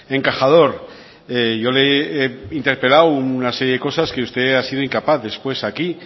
encajador yo le he interpelado una serie de cosas que usted ha sido incapaz después aquí